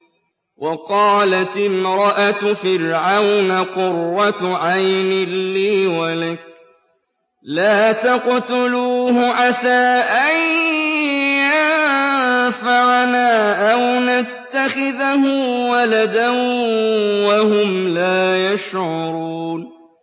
وَقَالَتِ امْرَأَتُ فِرْعَوْنَ قُرَّتُ عَيْنٍ لِّي وَلَكَ ۖ لَا تَقْتُلُوهُ عَسَىٰ أَن يَنفَعَنَا أَوْ نَتَّخِذَهُ وَلَدًا وَهُمْ لَا يَشْعُرُونَ